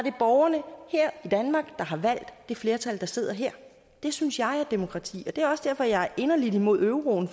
er borgerne her i danmark der har valgt det flertal der sidder her det synes jeg er demokrati og det er også derfor jeg er inderligt imod euroen